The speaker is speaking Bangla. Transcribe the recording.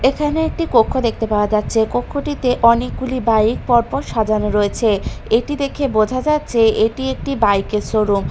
এখানে একটি কক্ষ দেখতে পাওয়া যাচ্ছে কক্ষটিতে অনেকগুলি বাইক পরপর সাজানো রয়েছে এটি দেখে বোঝা যাচ্ছে এটি একটি বাইক -এর শোরুম ।